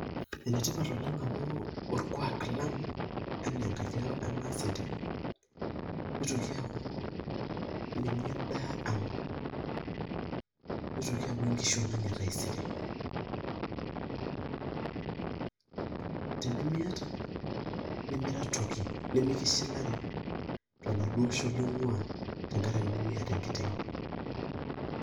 Enetipat amu orkwak lang' anaa enkangi emaasinta , nitoki aaku ninye enaa ang' nitoki aaku enkishon ang' etaisere tenimiata nemira toki , mikishilari toladuo osho ling'waa tenkaraki nimiata enkiteng' .